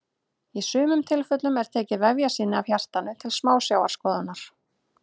í sumum tilfellum er tekið vefjasýni af hjartanu til smásjárskoðunar